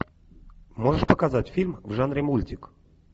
можешь показать фильм в жанре мультик